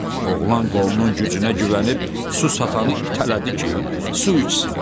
Oğlan qolunun gücünə güvənib su satanı itələdi ki, su içsin.